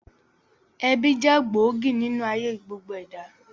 Ẹbí jẹ́ gbòógì nínú ayé gbogbo ẹ̀dá